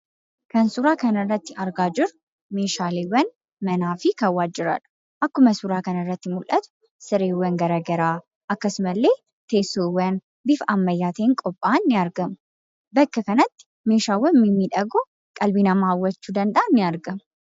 Kan suuraa kana irratti argaa jirru, meeshaaleewwan manaa fi kan waajjiraadha. Akkuma suuraa kana irratti mul'atu sireewwan garaagaraa akkasuma illee teessoowwan bifa ammayyaatiin qophaa'an ni argamu. Bakka kanatti meeshaawwan mimmiidhagoo qalbii namaa hawwachuu danda'an ni argamu.